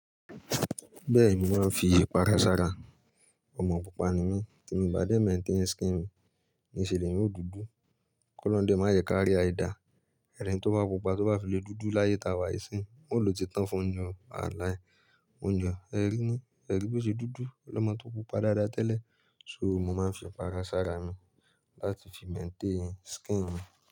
Bẹ́ẹ̀ni, mo máa ń fi ipara s'ara. Ọmọ pupa ni mí, tí miì bá dẹ̀ maintain skin mi, níṣe lèèyàn ó dùdu, k'Ọ́lọ́un dẹ̀ má jẹ́ ká rí àìdáa. Ẹni tó bá pupa tó bá fi le dúdú láyé táa wà nísìín, wọn ó ló ti tán fún-un ni o, wàláì. Mo jọ ẹẹ̀ rí ní, ẹẹ̀ ri bó ṣe dúdú, lọ́mọ tó pupa dáadáa tẹ́lẹ̀. So mo máa ń fi ìpara sára mi láti fi maintain skin mi.